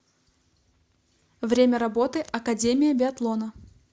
время работы академия биатлона